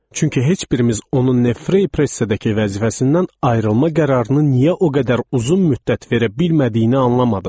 Çünki heç birimiz onun Neue Freie Pressedəki vəzifəsindən ayrılma qərarını niyə o qədər uzun müddət verə bilmədiyini anlamadıq.